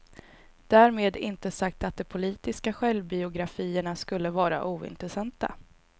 Därmed inte sagt att de politiska självbiografierna skulle vara ointressanta.